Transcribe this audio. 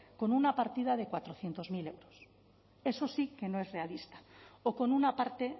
con una partida de cuatrocientos mil euros eso sí que no es realista o con una parte